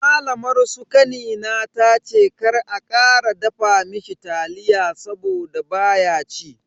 Malamar su kanina tace kar a kara dafa mishi taliya saboda baya ci.